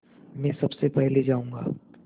मैं सबसे पहले जाऊँगा